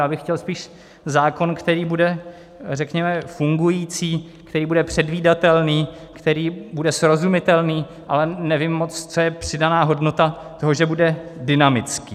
Já bych chtěl spíš zákon, který bude, řekněme, fungující, který bude předvídatelný, který bude srozumitelný, ale nevím moc, co je přidaná hodnota toho, že bude dynamický.